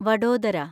Vadodara